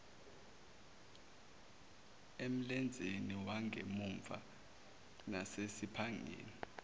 emlenzeni wangemuva nasesiphangeni